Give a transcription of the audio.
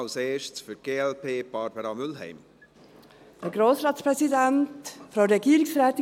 Als Erstes, für die glp, Barbara Mühlheim.